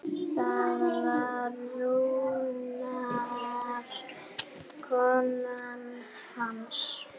Það var raunar konan hans.